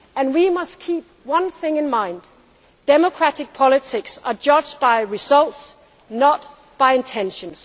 so. We must keep one thing in mind democratic politics are judged by results, not by intentions.